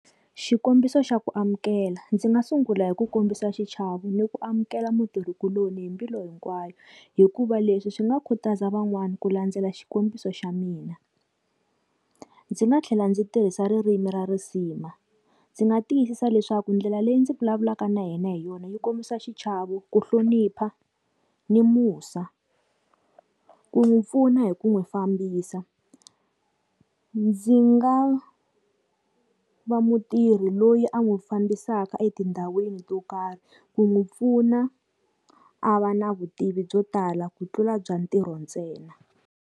Xikombiso xa ku amukela. Ndzi nga sungula hi ku kombisa xichavo ni ku amukela mutirhikuloni hi mbilu hinkwayo, hikuva leswi swi nga khutaza van'wana ku landzela xikombiso xa mina. Ndzi nga tlhela ndzi tirhisa ririmi ra risima. Ndzi nga tiyisisa leswaku ndlela leyi ndzi vulavulaka na yena hi yona yi kombisa xichavo, ku hlonipha, ni musa. Ku n'wi pfuna hi ku n'wi fambisa. Ndzi nga va mutirhi loyi a n'wi fambisaka etindhawini to karhi ku n'wi pfuna, a va na vutivi byo tala ku tlula bya ntirho ntsena.